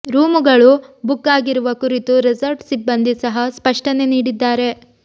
ರೂಮುಗಳು book ಆಗಿರುವ ಕುರಿತು resort ಸಿಬ್ಬಂದಿ ಸಹ ಸ್ಪಷ್ಟನೆ ನೀಡಿದ್ದಾರೆ